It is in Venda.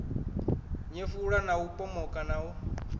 nyefula u pomoka na u